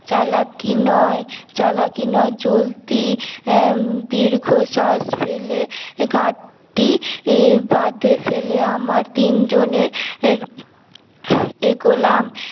চালাকি নয় চালাকি নয় চলতি আহ দীর্ঘশ্বাস ফেলে ঘাটতি বাদে ফেলে আমার তিন জনের এগোলাম